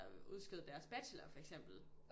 Der udskød deres bachelor for eksempel